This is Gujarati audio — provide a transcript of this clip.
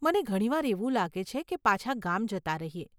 મને ઘણીવાર એવું લાગે છે કે પાછા ગામ જતાં રહીએ.